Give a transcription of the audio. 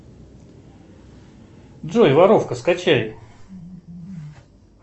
джой воровка скачай